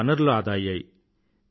వనరులు ఆదా అయ్యాయి